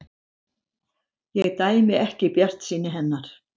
Ég dæmi ekki bjartsýni hennar.